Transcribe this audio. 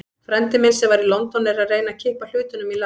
Frændi minn, sem var í London, er að reyna að kippa hlutunum í lag.